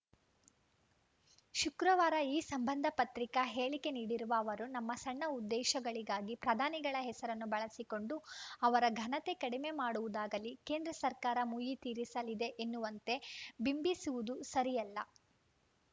ಶುಕ್ರವಾರ ಈ ಸಂಬಂಧ ಪತ್ರಿಕಾ ಹೇಳಿಕೆ ನೀಡಿರುವ ಅವರು ನಮ್ಮ ಸಣ್ಣ ಉದ್ದೇಶಗಳಿಗಾಗಿ ಪ್ರಧಾನಿಗಳ ಹೆಸರನ್ನು ಬಳಸಿಕೊಂಡು ಅವರ ಘನತೆ ಕಡಮೆ ಮಾಡುವುದಾಗಲಿ ಕೇಂದ್ರ ಸರ್ಕಾರ ಮುಯ್ಯಿ ತೀರಿಸಲಿದೆ ಎನ್ನುವಂತೆ ಬಿಂಬಿಸುವುದು ಸರಿಯಲ್ಲ